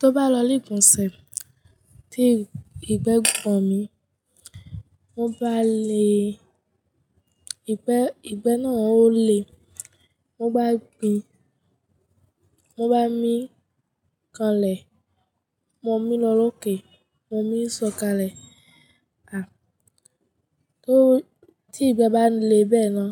Tó bá lọ lèkún sẹ̀ tí ìgbẹ́ gbòn mi, mo bá le, ìgbẹ́, ìgbẹ́ náà ó le, mo bá gbin, mo bá mí kanlẹ̀, ọmọ mi lọ́lókè, ọmọ mi ńsọ̀kalẹ̀. À, tó, tí ìgbẹ́ bá le bẹ́ẹ̀ náà,